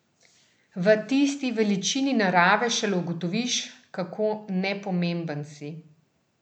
V tisti veličini narave šele ugotoviš, kako nepomemben si.